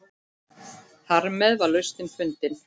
Þarmeð var lausnin fundin.